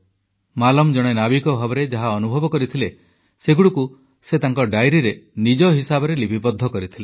ମାଲମ୍ ଜଣେ ନାବିକ ଭାବରେ ଯାହା ଅନୁଭବ କରିଥିଲେ ସେଗୁଡ଼ିକୁ ସେ ତାଙ୍କ ଡାଇରୀରେ ନିଜ ହିସାବରେ ଲିପିବଦ୍ଧ କରିଥିଲେ